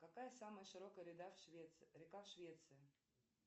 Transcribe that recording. какая самая широкая река в швеции